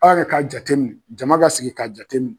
Aw yɛrɛ k'a jateminɛ , jama k'a sigi k'a jate minɛ.